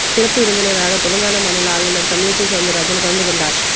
சிறப்பு விருந்தினராக தெலங்கானா மாநில ஆளுநர் தமிழிசை சவுந்தரராஜன் கலந்து கொண்டார்